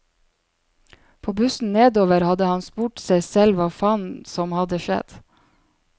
På bussen nedover hadde han spurt seg selv hva faen som hadde skjedd.